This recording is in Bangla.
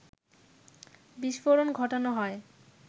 বিস্ফোরণ ঘটানো হয়